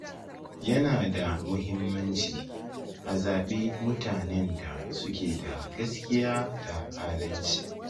Yana da muhimmanci a zaɓi mutanen da suke da gaskiya da adalci